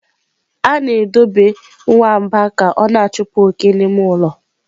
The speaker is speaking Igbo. A na-edobe nwamba ka ọ na-achụpụ oke n'ime ụlọ.